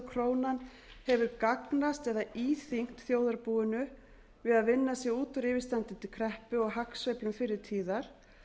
krónan hefur gagnast eða íþyngt þjóðarbúinu við að vinna sig út úr yfirstandandi kreppu og hagsveiflum fyrri tíðar